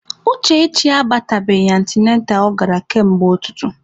Uchechi abatabeghị antịnantal ọ gara kamgbe ụtụtụ.